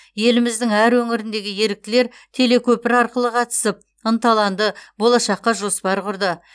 еліміздің әр өңіріндегі еріктілер телекөпір арқылы қатысып ынталанды болашаққа жоспар құрды